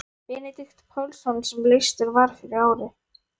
Benedikt Pálsson sem leystur var fyrir ári.